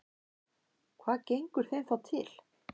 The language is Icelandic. Hvað gengur þeim þá til?